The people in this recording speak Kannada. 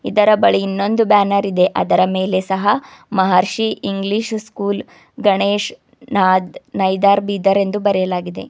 ಇದರ ಬಳಿ ಇನ್ನೊಂದು ಬ್ಯಾನರ್ ಇದೆ ಅದರ ಮೇಲೆ ಸಹ ಮಹರ್ಷಿ ಇಂಗ್ಲಿಷ್ ಸ್ಕೂಲ್ ಗಣೇಶ್ ನಾದ್ ನೈದರ್ ಬೀದರ್ ಎಂದು ಬರೆದಿದೆ.